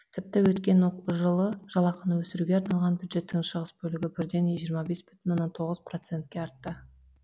тіпті өткен жылы жалақыны өсіруге арналған бюджеттің шығыс бөлігі бірден жиырма бес бүтін оннан тоғыз процентке артты